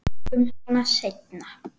Við tökum hana seinna.